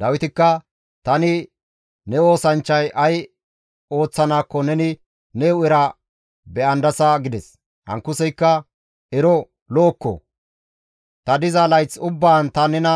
Dawitikka, «Tani ne oosanchchay ay ooththanaakko neni ne hu7era be7andasa» gides. Ankuseykka, «Ero lo7okko! Ta diza layth ubbaan ta nena